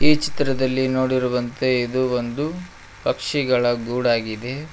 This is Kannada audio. ಈ ಚಿತ್ರದಲ್ಲಿ ನೋಡಿರುವಂತೆ ಇದು ಒಂದು ಪಕ್ಷಿಗಳ ಗೂಡಾಗಿದೆ.